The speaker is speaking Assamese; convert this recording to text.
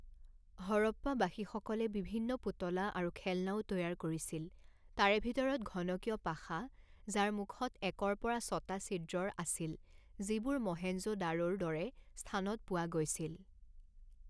হৰপ্পাবাসীসকলে বিভিন্ন পুতলা আৰু খেলনাও তৈয়াৰ কৰিছিল তাৰে ভিতৰত ঘনকীয় পাশা যাৰ মুখত একৰ পৰা ছটা ছিদ্ৰৰ আছিল যিবোৰ মহেঞ্জো দাৰোৰ দৰে স্থানত পোৱা গৈছিল।